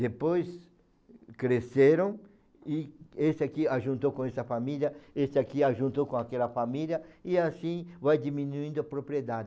Depois cresceram e esse aqui juntou com essa família, esse aqui juntou com aquela família e assim vai diminuindo a propriedade.